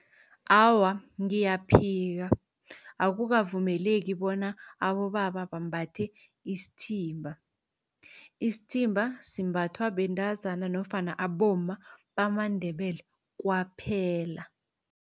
Awa, ngiyaphika akukavumeleki bona abobaba bambathe isithimba. Isithimba simbathwa bentazana nofana abomma bamaNdebele kwaphela.